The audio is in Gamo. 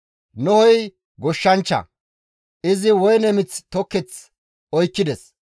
Nohey goshshanchcha; izi woyne mith toketh oykkides.